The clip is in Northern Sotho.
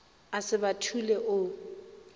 a se ba thule o